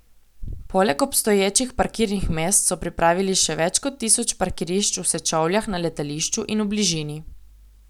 Poleg obstoječih parkirnih mest so pripravili še več kot tisoč parkirišč v Sečovljah na letališču in v bližini.